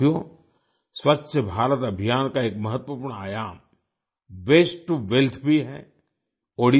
साथियो स्वच्छ भारत अभियान का एक महत्वपूर्ण आयाम वेस्ट टू वेल्थ वास्ते टो वेल्थ भी है